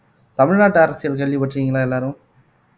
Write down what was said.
தமிழ்நாட்டு அரசியல் கேள்விப்பட்டிருக்கீங்களா எல்லாரும்